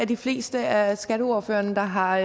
de fleste af skatteordførerne der har